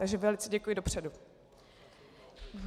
Takže velice děkuji dopředu.